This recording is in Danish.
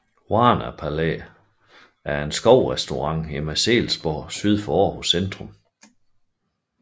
Varna Palæet er en skovrestaurant i Marselisborg Skov syd for Aarhus centrum